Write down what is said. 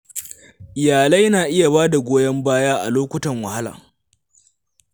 Iyalai na iya ba da goyon baya a lokutan wahala.